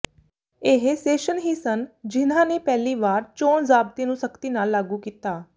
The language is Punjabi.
ਇਹ ਸੇਸ਼ਨ ਹੀ ਸਨ ਜਿਨ੍ਹਾਂ ਨੇ ਪਹਿਲੀ ਵਾਰ ਚੋਣ ਜ਼ਾਬਤੇ ਨੂੰ ਸਖ਼ਤੀ ਨਾਲ ਲਾਗੂ ਕੀਤਾ